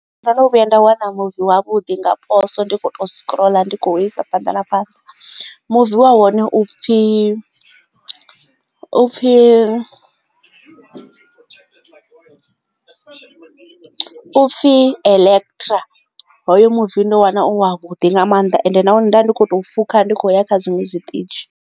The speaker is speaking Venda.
Ndo no vhuya nda wana muvi wavhuḓi nga poso ndi kho to scroll ndi kho u isa phanḓa na fhaḽa muvi wa hone u pfhi u pfhi elekitira hoyo muvi ndo wana u wa vhuḓi nga mannḓa ende na hone nda ndi kho to fuka ndi khou ya kha zwiṅwe zwiṱitshi.